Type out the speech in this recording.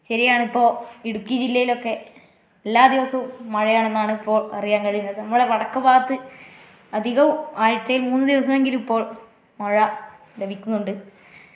ശരിയാണിപ്പോ ഇടുക്കി ജില്ലയിലൊക്കെ എല്ലാ ദിവസവും മഴയാണെന്നിപ്പോ അറിയാൻ കഴിയുന്നത് നമ്മുടെ വടക്കു ഭാഗത്തു അധികവും ആഴ്ചയിൽ മൂന്നു ദിവസമെങ്കിലും ഇപ്പോൾ മഴ ലഭിക്കുന്നുണ്ട്.